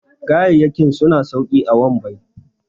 gayayyaki suna sauki a wambai